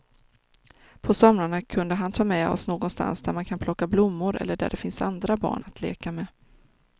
På somrarna kunde han ta med oss någonstans där man kan plocka blommor eller där det finns andra barn att leka med.